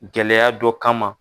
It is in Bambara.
Gɛlɛya dɔ kama.